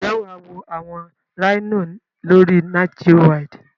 Njé wà wo àwon Rhino lórí NatGeowild